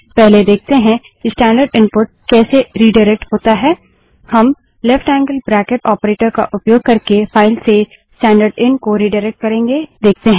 पहले देखते हैं कि स्टैन्डर्ड इनपुट कैसे रिडाइरेक्ट होता है हम ltलेफ्ट ऐंगअल ब्रैकिट ऑपरेटर का उपयोग करके फाइल से स्टैन्डर्डएन को रिडाइरेक्ट करेंगे